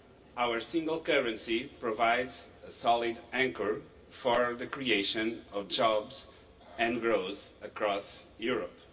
Our single currency provides a solid anchor for the creation of jobs and growth across Europe.